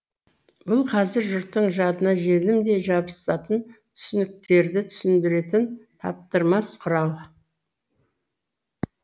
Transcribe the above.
бұл қазір жұрттың жадына желімдей жабысатын түсініктерді түсіндіретін таптырмас құрал